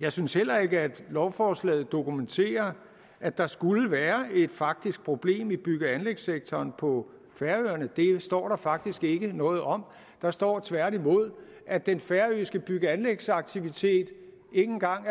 jeg synes heller ikke at lovforslaget dokumenterer at der skulle være et faktisk problem i bygge og anlægssektoren på færøerne det står der faktisk ikke noget om der står tværtimod at den færøske bygge og anlægsaktivitet ikke engang er